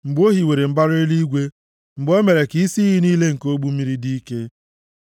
mgbe o hiwere mbara eluigwe, mgbe o mere ka isi iyi niile nke ogbu mmiri dị ike,